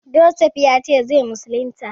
Josef ya ce zai musulunta?